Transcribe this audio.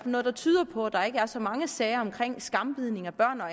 noget der tyder på at der ikke er så mange sager om skambidning af børn og